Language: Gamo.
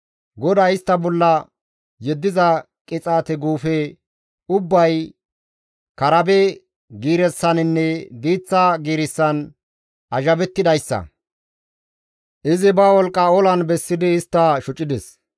GODAY istta bolla yeddiza qixaate guufe ubbay karabe giirissaninne diiththa giirissan azhabettidayssa; izi ba wolqqa olan bessidi istta shocides.